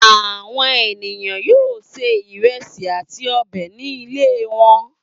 Àwọn ènìyàn yóò se ìrẹsì àti ọbẹ̀ ní ilé wọn.